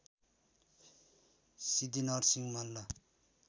Siddhi Narasimha Malla